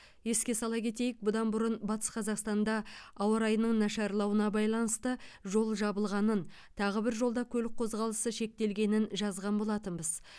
еске сала кетейік бұдан бұрын батыс қазақстанда ауа райының нашарлауына байланысты жол жабылғанын тағы бір жолда көлік қозғалысы шектелгенін жазған болатынбыз